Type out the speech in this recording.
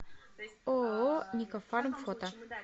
ооо никафарм фото